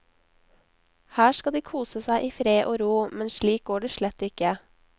Her skal de kose seg i fred og ro, men slik går det slett ikke.